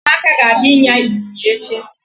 Ụmụaka ga-aga ịnya ịnyịnya echi.